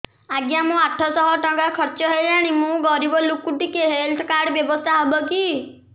ଆଜ୍ଞା ମୋ ଆଠ ସହ ଟଙ୍କା ଖର୍ଚ୍ଚ ହେଲାଣି ମୁଁ ଗରିବ ଲୁକ ଟିକେ ହେଲ୍ଥ କାର୍ଡ ବ୍ୟବସ୍ଥା ହବ କି